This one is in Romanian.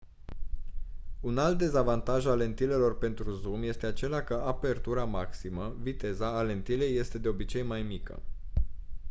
un alt dezavantaj al lentilelor pentru zoom este acela că apertura maximă viteza a lentilei este de obicei mai mică